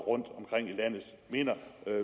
rundtomkring i landet mener